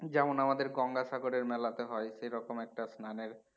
যেমন আমাদের গঙ্গাসাগরের মেলাতে হয় সেরকম একটা স্নানের